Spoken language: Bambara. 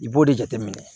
I b'o de jateminɛ